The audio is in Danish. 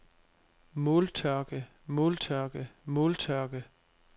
måltørke måltørke måltørke